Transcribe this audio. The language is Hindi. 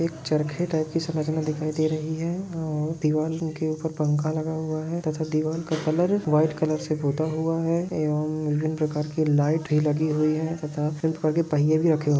एक चरखे टाइप की इस इमेज में दिखाई दे रही है और दिवारो के ऊपर पंखा लगा हुआ है तथा दीवार का कलर वाइट कलर से पोता हुआ है एवम विभ्भिन प्रकार की लाइटे लगी हुई है तथा पहिये भी रखे हुवे है।